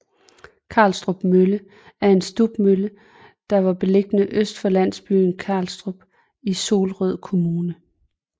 Karlstrup Mølle er en stubmølle der var beliggende øst for landsbyen Karlstrup i Solrød Kommune